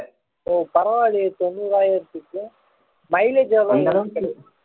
ஓ பரவாயில்லையே தொண்ணூறாயிரத்துக்கு mileage எவ்வளவு வரும்